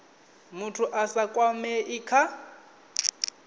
muthu a sa kwamei kha